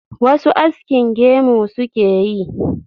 wasu askin gemu suke yi